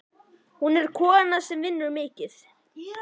Hún er kona sem vinnur mikið.